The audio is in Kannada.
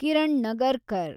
ಕಿರಣ್ ನಗರ್ಕರ್